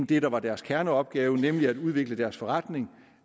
det der var deres kerneopgave nemlig at udvikle deres forretning